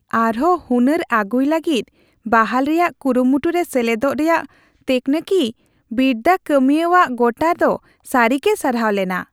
ᱟᱨᱦᱚᱸ ᱦᱩᱱᱟᱹᱨ ᱟᱹᱜᱩᱭ ᱞᱟᱹᱜᱤᱫ ᱵᱟᱦᱟᱞ ᱨᱮᱭᱟᱜ ᱠᱩᱨᱩᱢᱩᱴᱩ ᱨᱮ ᱥᱮᱞᱮᱫᱚᱜ ᱨᱮᱭᱟᱜ ᱛᱟᱹᱠᱱᱤᱠᱤ ᱵᱤᱨᱫᱟᱹ ᱠᱟᱹᱢᱤᱭᱟᱹᱣᱟᱜ ᱜᱚᱴᱟ ᱫᱚ ᱥᱟᱹᱨᱤᱜᱮ ᱥᱟᱨᱦᱟᱣ ᱞᱮᱱᱟ ᱾